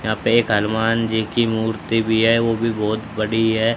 यहां पे एक हनुमान जी की मूर्ति भी है वो भी बहुत बड़ी है।